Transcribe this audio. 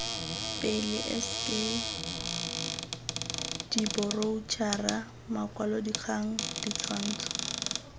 pele sk diboroutšhara makwalodikgang ditshwantsho